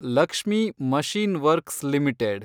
Lakshmi machine works limited